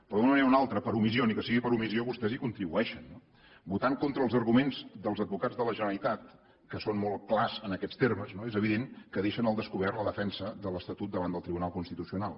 però d’una manera o una altra per omissió ni que sigui per omissió vostès hi contribueixen no votant contra els arguments dels advocats de la generalitat que són molt clars en aquests termes és evident que deixen al descobert la defensa de l’estatut davant del tribunal constitucional